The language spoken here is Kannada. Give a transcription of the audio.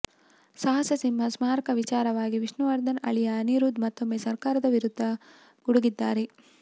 ಸಾಹಸಸಿಂಹನ ಸ್ಮಾರಕ ವಿಚಾರವಾಗಿ ವಿಷ್ಣುವರ್ಧನ್ ಅಳಿಯ ಅನಿರುದ್ಧ್ ಮತ್ತೊಮ್ಮೆ ಸರ್ಕಾರದ ವಿರುದ್ಧ ಗುಡುಗಿದ್ದಾರೆ